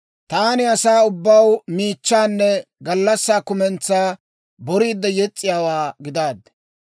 Taani asaa ubbaw miichchaanne gallassaa kumentsaa boriidde yes's'iyaawaa gidaaddi.